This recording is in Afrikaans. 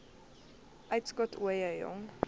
uitskot ooie jong